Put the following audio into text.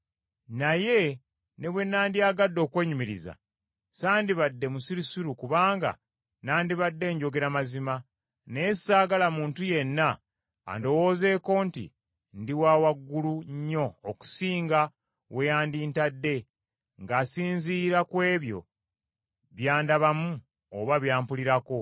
Naye ne bwe nandiyagadde okwenyumiriza, sandibadde musirusiru kubanga nandibadde njogera mazima, naye saagala muntu yenna andowoozeeko nti ndi wa waggulu nnyo okusinga we yandintadde ng’asinziira ku ebyo by’andabamu oba by’ampulirako,